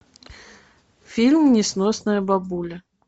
фильм несносная бабуля